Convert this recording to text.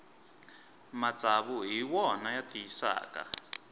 matsavu hi wona ya tiyisaka